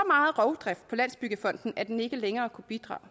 meget rovdrift på landsbyggefonden at den ikke længere kunne bidrage og